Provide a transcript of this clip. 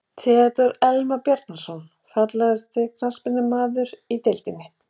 Theodór Elmar Bjarnason Fallegasti knattspyrnumaðurinn í deildinni?